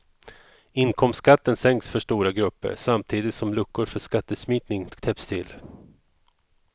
Inkomstskatten sänks för stora grupper, samtidigt som luckor för skattesmitning täpps till.